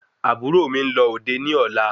Àbúrò mi nlọ òde ní ọlá